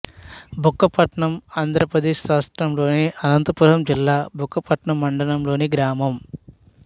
బుక్కపట్నం ఆంధ్ర ప్రదేశ్ రాష్ట్రములోని అనంతపురం జిల్లా బుక్కపట్నం మండలం లోని గ్రామం